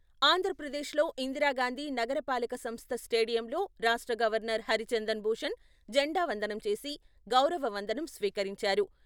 ఆంధ్రప్రదేశ్ లో ఇందిరాగాంధి నగర పాలక సంస్థ స్టేడియంలో రాష్ట్ర గవర్నర్ హరిచందన్ భూషణ్ జెండా వందనం చేసి, గౌరవ వందనం స్వీకరించారు.